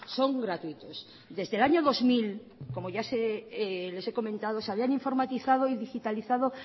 son gratuitos desde el año dos mil como ya les he comentado